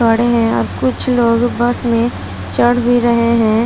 खड़े हैं और कुछ लोग बस में चढ़ भी रहे हैं।